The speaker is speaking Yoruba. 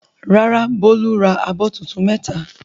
Rárá, Bólú ra abọ́ tuntun mẹ́ta.